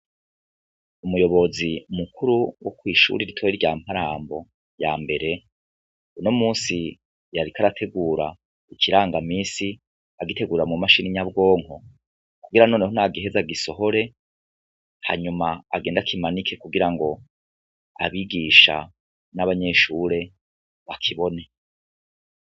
Umuyobozi mukuru wo kw'ishure ritoyi rya Mparambo ya mbere, uno musi yariko arategura ikirangamisi agitegura mu mashini nyabwonko kugira noneho nagiheza agisohore hanyuma agende akimanike kugira ngo abigisha n'abanyeshure bakibone.